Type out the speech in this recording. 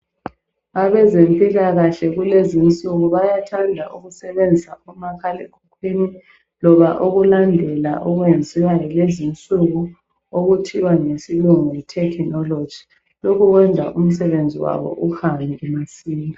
Abezempilakahle kulezinsuku bayathanda ukusebenzisa umakhalekhukhwini loba ukulandela okwenziwa lezinsuku okuthiwa ngesilungu yi 'technology', lokhu kwenza umsebenzi wabo uhambe masinya.